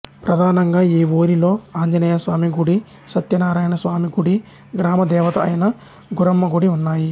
ప్రధానంగా ఈ ఊరిలో ఆంజనేయస్వామి గుడి సత్యనారాయణస్వామి గుడి గ్రామ దేవత అయిన గురమ్మ గుడి ఉన్నాయి